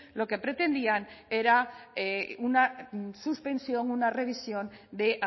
lo que pretendían era una suspensión una revisión de